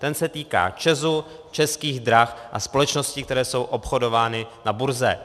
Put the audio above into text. Ten se týká ČEZu, Českých drah a společností, které jsou obchodovány na burze.